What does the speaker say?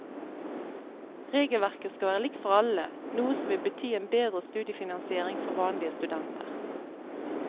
Regelverket skal være likt for alle, noe som vil bety en bedre studiefinansiering for vanlige studenter.